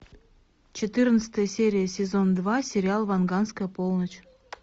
четырнадцатая серия сезон два сериал ванганская полночь